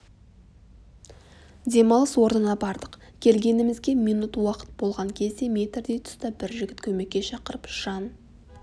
демалыс орнына бардық келгенімізге минут уақыт болған кезде метрдей тұста бір жігіт көмекке шақырып жан